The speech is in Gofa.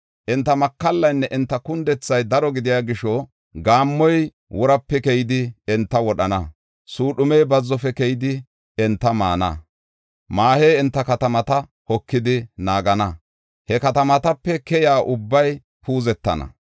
Enta makallaynne enta kundethay daro gidiya gisho, gaammoy worape keyidi, enta wodhana. Suudhumey bazzofe keyidi, enta maana. Maahey enta katamata hokidi naagana. He katamatape keyiya ubbay puuzetana.